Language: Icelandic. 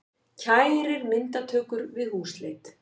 Kærir myndatökur við húsleit